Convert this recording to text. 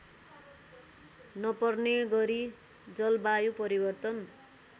नपर्ने गरी जलवायु परिवर्तन